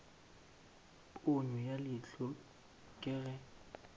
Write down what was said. ponyo ya leihlo ke ge